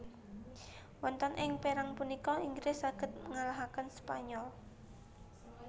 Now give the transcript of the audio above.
Wonten ing perang punika Inggris saged ngalahaken Spanyol